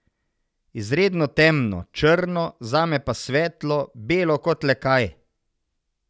Izredno temno, črno, zame pa svetlo, belo kot le kaj.